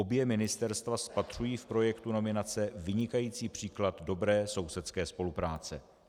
Obě ministerstva spatřují v projektu nominace vynikající příklad dobré sousedské spolupráce.